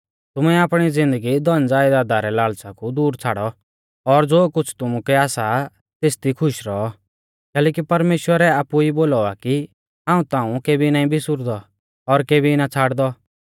तुमै आपणी ज़िन्दगी धनज़यदादा रै लाल़च़ा कु दूर छ़ाड़ौ और ज़ो कुछ़ तुमुकै आसा तेसी दी खुश रौऔ कैलैकि परमेश्‍वरै आपु ई बोलौ आ कि हाऊं ताऊं केबी नाईं बिसुरदौ और केबी ना छ़ाड़दौ